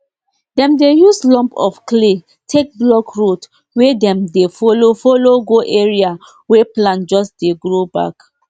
breed no dey affect only how plenty the crop go um be e still affect the colour shape and how people go like buy am.